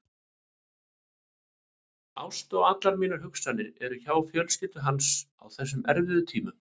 Ást og allar mínar hugsanir er hjá fjölskyldu hans á þessum erfiðu tímum.